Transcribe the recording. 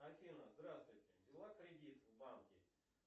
афина здравствуйте взяла кредит в банке